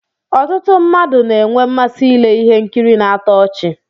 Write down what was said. Ọtụtụ mmadụ na-enwe mmasị ile ihe nkiri na-atọ ọchi.